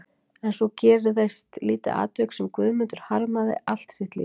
En svo gerðist lítið atvik sem Guðmundur harmaði allt sitt líf.